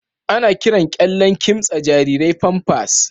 Ana kiran kyallen kimtsa jarirai Pampers.